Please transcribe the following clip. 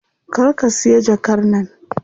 Kar ka siya jakar nan.